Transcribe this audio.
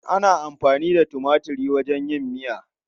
Ana amfani da tumatir wajen yin miya.